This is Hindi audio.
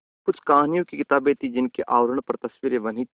कुछ कहानियों की किताबें थीं जिनके आवरण पर तस्वीरें बनी थीं